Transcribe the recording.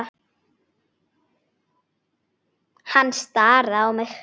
Hann starði á mig.